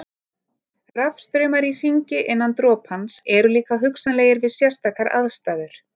Rafstraumar í hringi innan dropans eru líka hugsanlegir við sérstakar aðstæður.